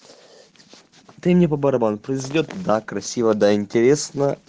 ты мне по барабану произойдёт да красиво да интересно